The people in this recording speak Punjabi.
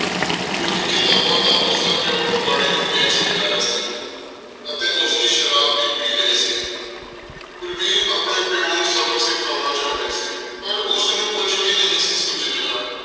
ਕਿਉਂਕਿ ਕਿਤਾਬਾਂ ਤਾਂ ਉਸਦਾ ਪਿਉ ਕਬਾੜੀ ਨੂੰ ਵੇਚ ਕੇ ਆਇਆ ਸੀ ਅਤੇ ਉਸਦੀ ਸ਼ਰਾਬ ਵੀ ਪੀ ਲਈ ਸੀ। ਕੁਲਵੀਰ ਆਪਣੇ ਪਿਉ ਨੂੰ ਸਬਕ ਸਿਖਾਉਣਾ ਚਾਹੁੰਦੀ ਸੀ। ਪਰ ਉਸਨੂੰ ਕੁੱਝ ਵੀ ਨਹੀਂ ਸੀ ਸੁੱਝ ਰਿਹਾ।